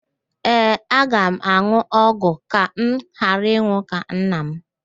Ee, aga m an̄ụ ọgwụ ka m ghara ịnwụ ka nna m